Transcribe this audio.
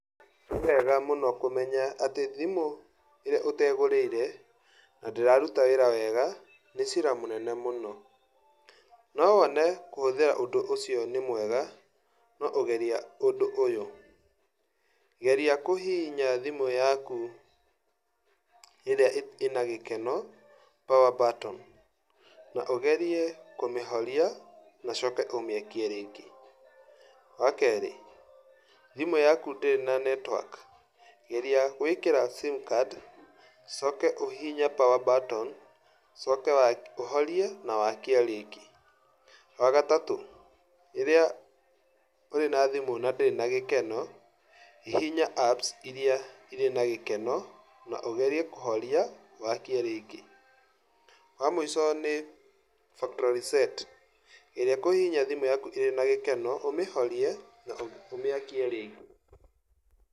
Nĩwega mũno kũmenya atĩ thĩmũ ĩrĩa ũtegũrĩire nĩ cira mũnene mũno, no wone kũhũthĩra ũndũ ũcio nĩ mwega, no geria uũndũ ũyũ. Geria kũhihinya thimũ yaku apu ĩrĩ ĩna gĩkeno power button, na ũgerie kũmĩhoria na ũcoke ũmĩakie. Wa kerĩ, thimũ yaku ndĩrĩ na netiwaki- geria gwĩkĩra simu card ũcoke ũhihinye power button ũcoke ũhorie na wakie rĩngĩ. Wagatatũ, rĩrĩa wĩ na thimũ na ndĩrĩ na gĩkeno, hihinya apu ira ĩrĩ na gĩkeno na ũgerie kũhoria na wakie rĩngĩ. Wa mũico nĩ factory set ĩrĩa kũhihinya thimũ yaku ĩrĩ na gĩkeno, ũmĩhorie na ũmĩakie rĩngĩ.